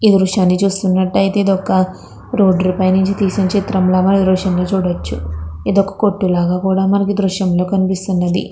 ఈ చిత్రాన్ని చూసినట్టు అయితే రోడ్ మీద తీసినట్టుగా కనిపిస్తానండి. ఇంకా ఇక్కడ క కొట్టు కూడా కనిపిస్తానండి.